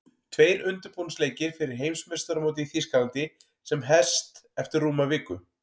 Tveir undirbúningsleikir fyrir Heimsmeistaramótið í Þýskalandi sem hest eftir rúma viku.